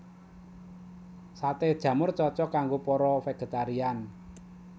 Saté jamur cocok kanggo para végétarian